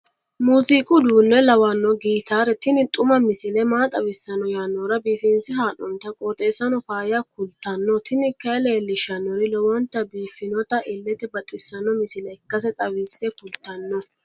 musiqu uduunne lawanno gitaare tini xuma misile maa xawissanno yaannohura biifinse haa'noonniti qooxeessano faayya kultanno tini kayi leellishshannori lowonta biiffinota illete baxissanno misile ikkase xawisse kultanno.